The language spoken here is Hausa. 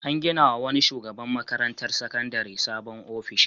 An ginawa wani shugaban makarantar sakandare sabon ofishi.